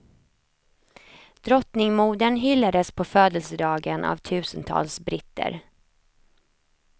Drottningmodern hyllades på födelsedagen av tusentals britter.